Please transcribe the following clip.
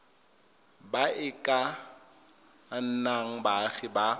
ba e ka nnang baagi